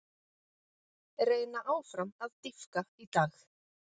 Reyna áfram að dýpka í dag